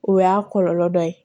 O y'a kɔlɔlɔ dɔ ye